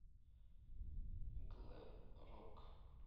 глэм рок